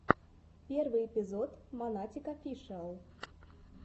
первый эпизод монатик офишиал